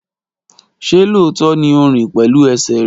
ṣe lóòótọ́ ní o rìn pẹ̀lú ẹsẹ̀ rẹ?